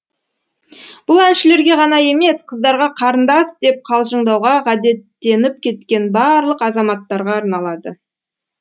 бұл әншілерге ғана емес қыздарға қарындас деп қалжыңдауға ғадеттеніп кеткен барлық азаматтарға арналады